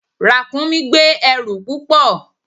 Ràkúnmí gbé ẹrù púpọ̀.